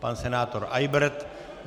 Pan senátor Eybert.